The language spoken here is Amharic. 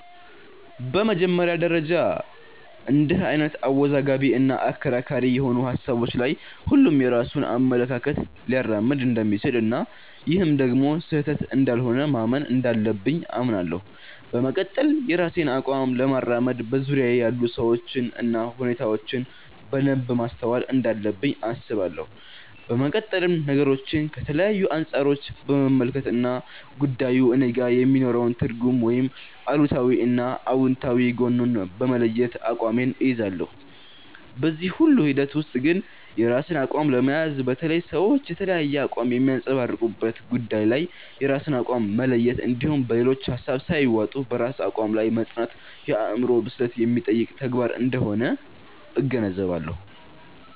በመጀመሪያ ደረጃ እንድህ አይነት አወዛጋቢ እና አከራካሪ የሆኑ ሀሳቦች ላይ ሁሉም የራሱን አመለካከት ሊያራምድ እንደሚችል እና ይህም ደግሞ ስህተት እንዳልሆነ ማመን እንዳለብኝ አምናለሁ። በመቀጠል የራሴን አቋም ለማራመድ በዙርያየ ያሉ ሰዎችን እና ሁኔታዎችን በደንብ ማስተዋል እንዳለብኝ አስባለሁ። በመቀጠልም ነገሮችን ከተለያዩ አንፃሮች በመመልከት እና ጉዳዩ እኔጋ የሚኖረውን ትርጉም ወይም አሉታዊ እና አውንታዊ ጎኑን በመለየት አቋሜን እይዛለሁ። በዚህ ሁሉ ሂደት ውስጥ ግን የራስን አቋም ለመያዝ፣ በተለይ ሰዎች የተለያየ አቋም በሚያንፀባርቁበት ጉዳይ ላይ የራስን አቋም መለየት እንድሁም በሌሎች ሀሳብ ሳይዋጡ በራስ አቋም ላይ መፅናት የአዕምሮ ብስለት የሚጠይቅ ተግባር አንደሆነ እገነዘባለሁ።